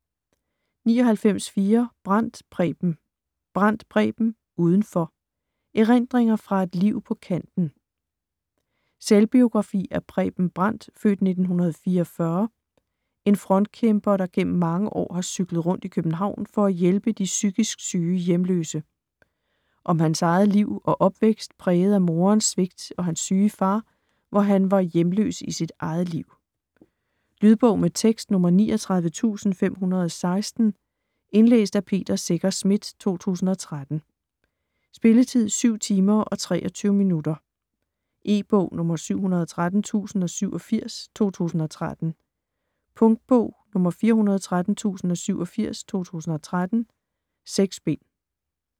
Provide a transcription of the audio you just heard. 99.4 Brandt, Preben Brandt, Preben: Udenfor: erindringer fra et liv på kanten Selvbiografi af Preben Brandt (f. 1944), en frontkæmper der gennem mange år har cyklet rundt i København for at hjælpe de psykisk syge hjemløse. Om hans eget liv og opvækst præget af morens svigt og hans syge far, hvor han var hjemløs i sit eget liv. Lydbog med tekst 39516 Indlæst af Peter Secher Schmidt, 2013. Spilletid: 7 timer, 23 minutter. E-bog 713087 2013. Punktbog 413087 2013. 6 bind.